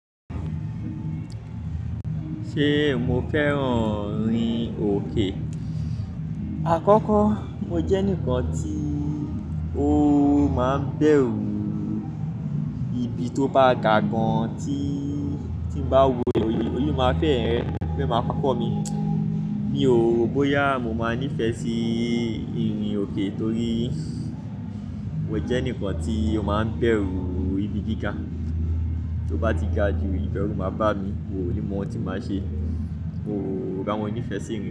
Ṣé mo fẹ́ràn ìrìn òkè? Àkọ́kọ́, ó jẹ́ ǹkan tí ó máa ń bẹ̀rù ibi tó bá gà gan tí tí bá wo le oyi yóò máa fẹ́ ẹ fẹ́ máa kọ́ mi. Mi ò ro bóyá mo máa nífẹ̀ẹ́ sí ìrìn òkè torí mó jẹ́ enikan tí ó máa ń bẹ̀rù ibi gíga, tó bá ti ga ju ìbẹ̀rù máa bá mi, mi o ní mọ ohun tí màá ṣe. Mo ro boya mo nífẹ̀ẹ́ sí ìrìn òkè.